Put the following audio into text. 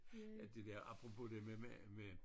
Ja det der apropos det med med med